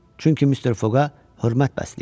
Çünki Mister Foqa hörmət bəsləyirdi.